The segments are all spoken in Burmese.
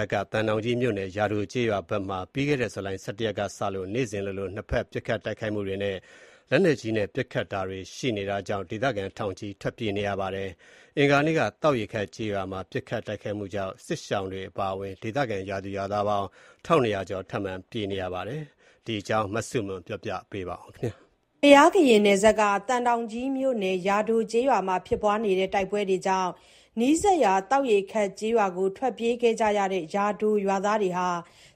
ပ်က သံတောင်ကြီးမြို့နယ် ယာဒိုကျေးရွာဘက်မှာ ပြီးခဲ့တဲ့ ဇူလိုင် ၁၁ ရက်နေ့ကစလို့ နေ့စဉ်လိုလို နှစ်ဘက် ပစ်ခတ် တိုက်ခိုက်မှုတွေ၊ လက်နက်ကြီးနဲ့ ပစ်ခတ်တာတွေ ရှိနေတာကြောင့် ဒေသခံ ထောင်နဲ့ချီ ထွက်ပြေး နေကြရပါတယ်။ အင်္ဂါနေ့က သောက်ရေခပ် ကျေးရွာမှာ ပစ်ခတ် တိုက်ခိုက်မှုကြောင့် ယာဒိုက စစ်ရှောင်တွေ အပါအဝင် ဒေသခံရွာသူရွာသား ၁,၂၀၀ ကျော် ထပ်မံ ပြေးလွှားနေကြရတယ်လို့ ဒေသခံတွေက ပြောပါတယ်။ ဒီအကြောင်း သတင်းပေးပို့ချက်ကို မဆုမွန်က တင်ပြပေးပါမယ်။ သံတောင်ကြီးမြို့နယ် ယာဒိုကျေးရွာမှာ ဖြစ်ပွားနေတဲ့ တိုက်ပွဲတွေကြောင့် နီးစပ်ရာ သောက်ရေခပ်ကျေးရွာကို ထွက်ပြေးခဲ့ကြရတဲ့ ယာဒိုရွာသားတွေဟာ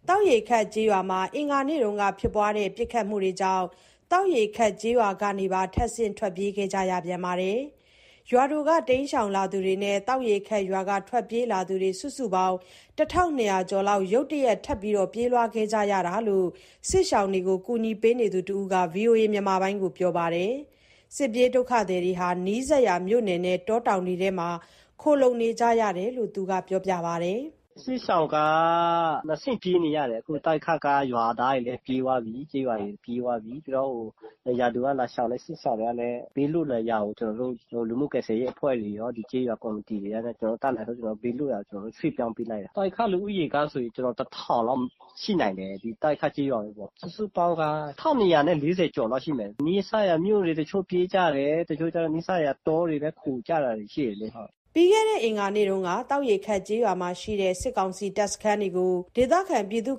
သောက်ရေခပ်ကျေးရွာမှာ အင်္ဂါနေ့က ဖြစ်ပွားတဲ့ ပစ်ခတ်မှုတွေကြောင့် သောက်ရေခပ် ကျေးရွာကနေပါ ထပ်ဆင့် ထွက်ပြေးကြရပြန်ပါတယ်။ ယာဒိုက တိမ်းရှောင်လာသူတွေနဲ့ သောက်ရေခပ်ရွာက ထွက်ပြေးလာသူတွေ စုစုပေါင်း ၁,၂၀၀ ကျော် ရုတ်တရက် ထပ်မံ ပြေးလွှားခဲ့ကြရတာ ဖြစ်တယ်လို့ စစ်ရှောင်တွေကို ကူညီနေသူတဦးက ဗွီအိုအေကို ပြောပါတယ်။ စစ်ပြေးဒုက္ခသည်တွေဟာ နီးစပ်ရာမြို့နယ်နဲ့ တောတောင်တွေထဲ ခိုလှုံနေကြရတယ်လို့ သူက ပြောပြပါတယ်။ “စစ်ရှောင်က နှစ်ဆင့်ပြေးနေရတယ်။ အခု သောက်ရေခပ်က ရွာသားတွေလည်း ပြေးသွားပြီး ကျေးရွာတွေ ပြေးသွားပြီ။ ယာဒိုက လာရှောင်တဲ့ စစ်ရှောင်တွေကလည်း ဘေးလွတ်ရာကို ကျနော်တို့ လူမှုကယ်ဆယ်ရေးအဖွဲ့တွေ နဲ့ ဒီကျေးရွာကော်မတီတွေနဲ့ ကျနော်တို့ တတ်နိုင်သလောက် ဘေးလွတ်ရာကို ကျနော်တို့ ရွှေ့ပြောင်းပေးလိုက်တယ်။ သောက်ရေခပ် လူဦးရေကဆိုရင် ၁,၀၀၀ လောက် ရှိနိုင်တယ်။ ဒီသောက်ရေခပ် ကျေးရွာပဲပေါ့။ စုစုပေါင်းဆိုရင် ၁၂,၀၀ နဲ့ ၄၀ ကျော်လောက် ရှိမယ်။ နီးစပ်ရာမြို့ကို တချို့ပြေးကြတယ်။ တချို့ကြတော့ တောတွေ ခိုကြတာတွေ ရှိတယ်လေ။” ပြီးခဲ့တဲ့ အင်္ဂါနေ့က သောက်ရေခပ် ကျေးရွာမှာရှိတဲ့ စစ်ကောင်စီတပ် စခန်းတွေကို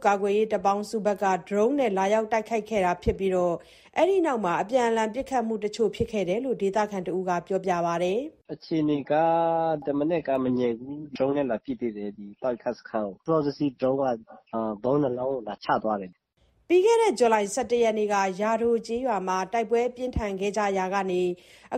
ကာကွယ်ရေး တပ်ပေါင်းစုတွေဘက်က ဒရုန်းနဲ့ လာရောက် တိုက်ခိုက်ခဲ့တာ ဖြစ်ပြီး အဲ့ဒီနောက် အပြန်အလှန် ပစ်ခတ်မှုတချို့ ဖြစ်ခဲ့တာလို့ ဒေသခံတဦးက ပြောပါတယ်။ “အခြေအနေက တမနက်က မငြိမ်ဘူး။ ဒရုန်းနဲ့ လာပစ်သေးတယ်။ ဒီသောက်ရေခပ်စခန်းကို စောစောစီးစီး ဒရုန်းက ဗုံး ၂လုံးကို လာချသွားတယ်။” ပြီးခဲ့တဲ့ ဇူလိုင် ၁၁ ရက်နေ့က ယာဒိုကျေးရွာမှာ တိုက်ပွဲ ပြင်းထန်ခဲ့ရာကစလို့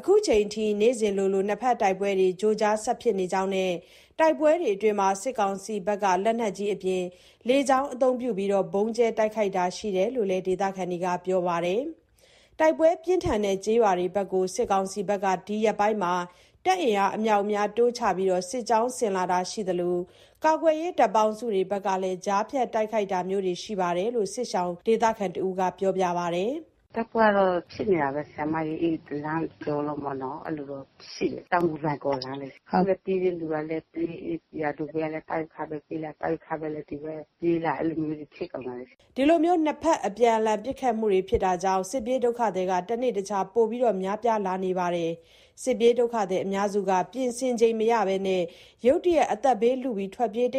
ခုချိန်ထိ နေ့စဉ်လိုလို နှစ်ဘက် တိုက်ပွဲတွေ ကြိုကြား ဆက်ဖြစ်နေကြောင်းနဲ့ တိုက်ပွဲအတွင်း စစ်ကောင်စီဘက်က လက်နက်ကြီးအပြင် လေကြောင်း အသုံးပြု ဗုံးကြဲတိုက်ခိုက်တာ ရှိတယ်လို့ ဒေသခံတွေက ပြောပါတယ်။ တိုက်ပွဲပြင်းထန်တဲ့ ကျေးရွာတွေဘက်ကို စစ်ကောင်စီက ဒီရက်ပိုင်း တပ်အင်အား အမြောက်အများ တိုးချပြီး စစ်ကြောင်း ဆင်လာတာရှိသလို၊ ကာကွယ်ရေး တပ်ပေါင်းစုဘက်က ကြားဖြတ် တိုက်ခိုက်တာမျိုးလည်း ရှိတယ်လို့ စစ်ရှောင်ဒေသခံတဦးက ပြောပါတယ်။ “တိုက်ပွဲကတော့ ဖြစ်နေတာပဲ။ အဲ့ဒီလမ်း တကျောလုံးပေါ့နော်။ အဲ့လိုတော့ ရှိတယ်။ တောင်ငူ-လွိုင်ကော်လမ်းလေ။ အခုက ပြေးတဲ့လူလည်း ပြေး။ ယာဒိုကလည်း သောက်ရေခပ် ကိုပြေးလာ။ သောက်ရေခပ် ကလည်း ဒီဘက်ပြေးလာ။ အဲ့လိုမျိုးတွေ ဖြစ်ကုန်တာလေ။” ဒီလို နှစ်ဘက် အပြန်အလှန် ပစ်ခတ်မှုတွေကြောင့် စစ်ပြေး ဒုက္ခသည်တွေ တနေ့တခြား ပိုမို များပြားလာနေပြီး အများစုက ပြင်ဆင်ချိန်မရဘဲ ရုတ်တရက် အသက်ဘေးလု ထွက်ပြေးကြ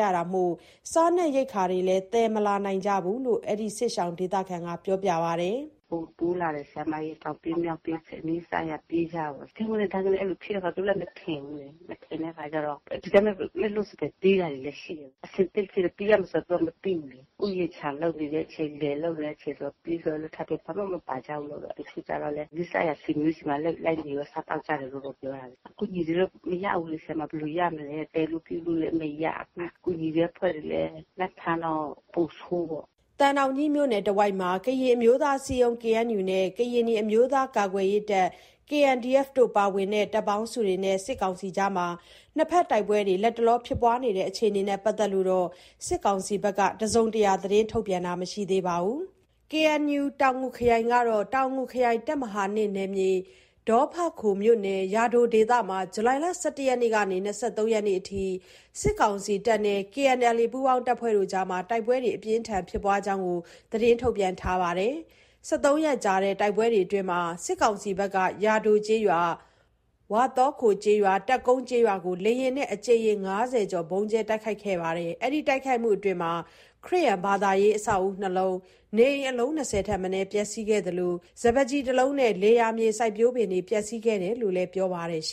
ရတာမို့ စားနပ်ရိက္ခာ တွေလည်း သယ်မလာနိုင်ကြဘူးလို့ ဒီ စစ်ရှောင်ဒေသခံက ပြောပါတယ်။ “ပိုတိုးလာတယ်။ တောင်ပြေး မြောက်ပြေး နီးစပ်ရာပြေးကြပေါ့။ ဗြုန်းခနဲ ဒိုင်းခနဲ။ အဲ့လိုဖြစ်တဲ့အခါ ကိုယ်တွေလည်း မထင်ဘူးလေ။ မထင်တဲ့အခါကျတော့ ဒီတိုင်းပဲ လက်လွတ် ပြေးရတာတွေလည်း ရှိတယ်။ အဆင်သင့်မဖြစ်ဘဲ ပြေးရမယ်ဆိုတာ သူတို့လည်း မသိဘူးလေ။ ဥယျာဉ်ခြံလုပ်နေတဲ့ အချိန် လယ်လုပ်နေတဲ့အချိန်ဆို ပြေးဆိုလည်း ဘာမှမပါကြတော့ တချို့ကျတော့လည်း နီးစပ်ရာ ဆွေမျိုးဆီမှာ လိုက်နေပြီး စားသောက်တယ်လို့တော့ ပြောတာပဲ။ အကူအညီတွေတော့ မရဘူးလေ။ ဘယ်လိုရမလဲ။ သယ်ဖို့ပြုဖို့လည်း မရဘူး။ ကူညီတဲ့အဖွဲ့တွေလည်း လိုက်ဖမ်းတော့ ပိုဆိုးပေါ့။” သံတောင်ကြီးမြို့နယ်တဝိုက်မှာ ကရင်အမျိုးသား အစည်းအရုံး နဲ့ ကရင်နီအမျိုးသားများ ကာကွယ်ရေးတပ် ပါဝင်တဲ့ တပ်ပေါင်းစုတွေနဲ့ စစ်ကောင်စီအကြား နှစ်ဘက်တိုက်ပွဲ လတ်တလော ဖြစ်ပွားနေတဲ့ အခြေအနေနဲ့ပတ်သက်လို့ စစ်ကောင်စီဘက်က ထုတ်ပြန် ပြောဆိုတာတော့ မရှိသေးပါဘူး။ KNU တောင်ငူခရိုင် ကတော့ တောင်ငူခရိုင် တပ်မဟာ နယ်မြေ ဒေါ်ဖခိုမြို့နယ်၊ ယာဒို ဒေသမှာ ဇူလိုင် ၁၁ ရက် ကနေ ၂၃ ရက်နေ့ အထိ စစ်ကောင်စီတပ်နဲ့ KNLA ပူးပေါင်းတပ်ဖွဲ့တွေအကြား တိုက်ပွဲ အပြင်းအထန် ဖြစ်ပွားတဲ့အကြောင်း ထုတ်ပြန်ထားပါတယ်။ ၁၃ ရက်ကြာ တိုက်ပွဲအတွင်းမှာ စစ်ကောင်စီဘက်က ယာဒိုကျေးရွာ၊ ဝါသောခိုကျေးရွာ၊ တပ်ကုန်းကျေးရွာကို လေယာဉ်နဲ့ အကြိမ်ရေ ၅၀ ကျော် ဗုံးကြဲ တိုက်ခိုက်ခဲ့တာလို့ ပြောပါတယ်။ ဒီတိုက်ခိုက်မှုတွေအတွင်း ခရစ်ယာန်ဘာသာရေး အဆောက်အဦး ၂ လုံးနဲ့ နေအိမ် အလုံး ၂၀ ထက်မနည်း ပျက်ဆီးခဲ့သလို စပါးကျီ ၁ လုံး နဲ့ လယ်ယာမြေ စိုက်ပျိုးပင်တွေ ပျက်စီးခဲ့တယ်လို့လည်း ပြောပါတယ်။